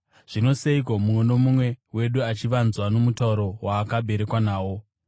Zvino seiko mumwe nomumwe wedu achivanzwa nomutauro waakaberekwa nawo?